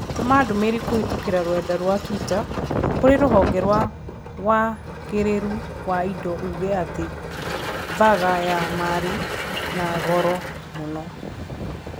Tũma ndũmĩrĩri kũhĩtũkĩra rũrenda rũa tũita kũrĩ rũhonge rwa wagĩrirũ wa indo uuge atĩ burger ya marĩ na goro mũno.